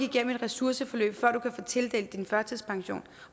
igennem et ressourceforløb før du kan få tildelt din førtidspension